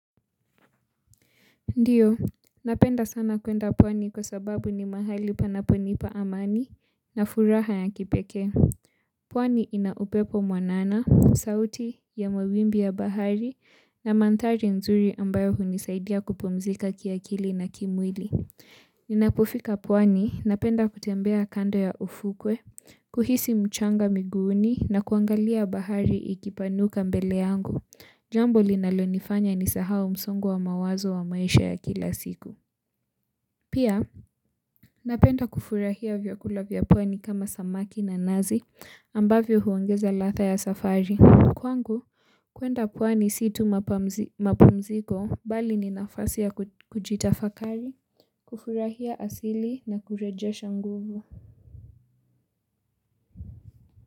Ndiyo, napenda sana kuenda pwani kwa sababu ni mahali panaponipa amani na furaha ya kipekee pwani ina upepo mwanana, sauti ya mawimbi ya bahari na mandhari nzuri ambayo hunisaidia kupumzika kiakili na kimwili. Ninapofika pwani, napenda kutembea kando ya ufukwe, kuhisi mchanga miguuni na kuangalia bahari ikipanuka mbele yangu. Jambo linalonifanya nisahau msongo wa mawazo wa maisha ya kila siku pia napenda kufurahia vyakula vya pwani kama samaki na nazi ambavyo huongeza ladha ya safari kwangu kuenda pwani si tu mapumziko bali ni nafasi ya kujitafakari, kufurahia asili na kurejesha nguvu.